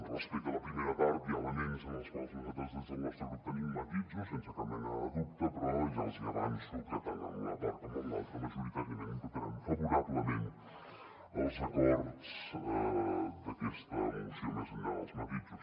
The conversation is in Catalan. respecte a la primera part hi ha elements en els quals nosaltres des del nostre grup tenim matisos sense cap mena de dubte però ja els hi avanço que tant en una part com en l’altra majoritàriament votarem favorablement als acords d’aquesta moció més enllà dels matisos